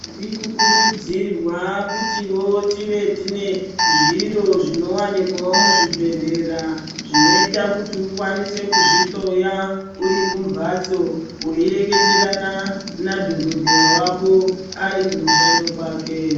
Tiri kukurudzirwa kutivo tive tine zviro zvinowanikwawo muzvibhedhlera zvinoita kuti ukwanise kuzvihloya uri kumbatso weireketerana nadhogodheya wako ari kumushando kwake.